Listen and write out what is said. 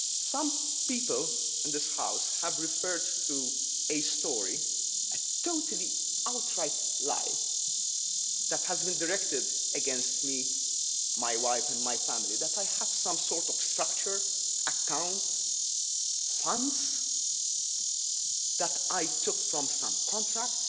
him. Some people in this House have referred to a story a totally outright lie that has been directed against me, my wife and my family, namely that I have some sort of structure account, funds that I took from some contract